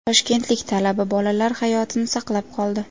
Toshkentlik talaba bolalar hayotini saqlab qoldi.